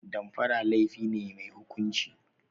Damfara laifi ne mai hukunci.